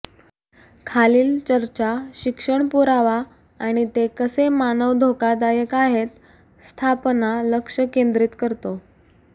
खालील चर्चा शिक्षण पुरावा आणि ते कसे मानव धोकादायक आहेत स्थापना लक्ष केंद्रीत करतो